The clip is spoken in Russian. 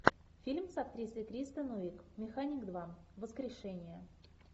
фильм с актрисой кристен уиг механик два воскрешение